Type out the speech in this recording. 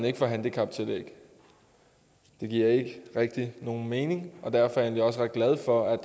ikke får handicaptillæg det giver ikke rigtig nogen mening og derfor er jeg egentlig også ret glad for at